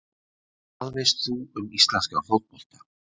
Hvað veist þú um íslenskan fótbolta?